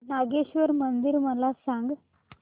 नागेश्वर मंदिर मला सांग